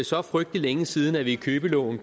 så frygtelig længe siden vi i købeloven